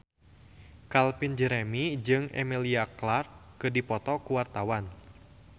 Calvin Jeremy jeung Emilia Clarke keur dipoto ku wartawan